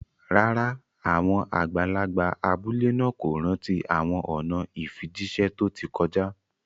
Rárá, àwọn àgbàlagbà abúlé náà kò rántí àwọn ọ̀nà ìfijíṣẹ́ tó ti kọjá